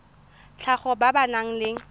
tlhago ba ba nang le